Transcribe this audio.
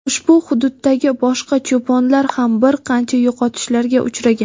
ushbu hududdagi boshqa cho‘ponlar ham bir qancha yo‘qotishlarga uchragan.